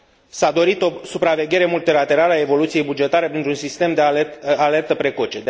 s a dorit o supraveghere multilaterală a evoluției bugetare printr un sistem de alertă precoce.